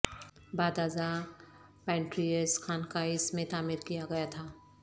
بعد ازاں پنٹریز خانقاہ اس میں تعمیر کیا گیا تھا